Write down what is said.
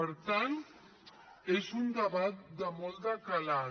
per tant és un debat de molt de calat